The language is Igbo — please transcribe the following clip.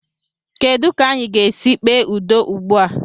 Kedụ ka anyị ga-esi kpee udo ugbu a?